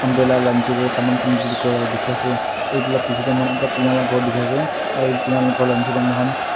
umbrella laka nechi ti saman kan bekri korala teki ase etu laka bechi ji mokan ekta tina laka kor teki ase aru etu tina laka khor nechi ti mokan--